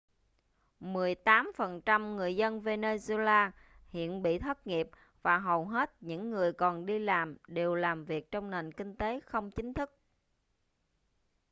mười tám phần trăm người dân venezuela hiện bị thất nghiệp và hầu hết những người còn đi làm đều làm việc trong nền kinh tế không chính thức